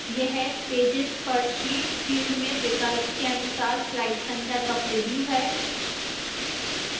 यह pages per sheet field में विकल्प के अनुसार slide संख्या का प्रिव्यू है